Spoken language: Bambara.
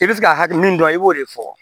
I bɛ se ka hakɛ min dɔn i b'o de fɔ